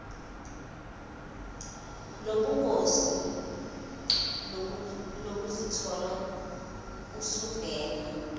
lobungozi lokuzithola usuvela